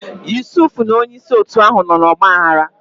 Yusuf na onye isi otu ahụ nọ n'ọgba aghara.